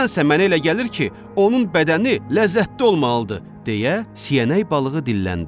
Nədənsə mənə elə gəlir ki, onun bədəni ləzzətli olmalıdır, deyə siyarək balığı dilləndi.